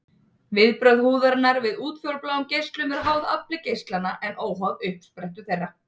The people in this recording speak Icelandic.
Viðbrögð húðarinnar við útfjólubláum geislum eru háð afli geislanna en óháð uppsprettu þeirra.